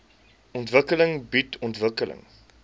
ontwikkeling bied ontwikkeling